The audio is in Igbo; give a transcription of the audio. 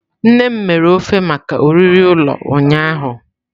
Nne m mere ofe maka oriri ụlọ ụnyahụ.